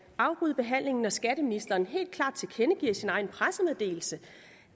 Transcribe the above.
afbryde behandlingen når skatteministeren helt klart tilkendegiver i sin egen pressemeddelelse